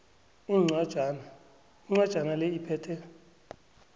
incwajana le iphethe